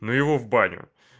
ну его в баню